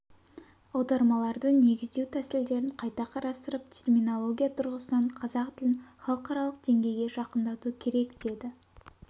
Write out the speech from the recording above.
аудармаларды негіздеу тәсілдерін қайта қарастырып терминология тұрғысынан қазақ тілін халықаралық деңгейге жақындату керек деді